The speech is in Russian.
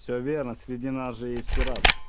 все верно среди нас же есть пират